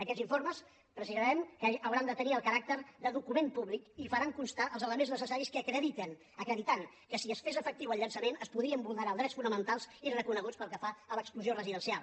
aquests informes precisarem que hauran de tenir el caràcter de document públic i s’hi farà constar els elements necessaris que acreditin que si es fes efectiu el llançament es podrien vulnerar els drets fonamentals i reconeguts pel que fa a l’exclusió residencial